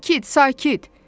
Sakit, sakit!